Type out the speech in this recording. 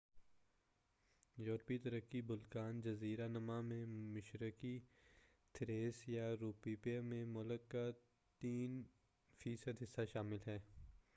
یوروپی ترکی بلقان جزیرہ نما میں مشرقی تھریس یا رومیلیا میں ملک کا 3% حصہ شامل ہے-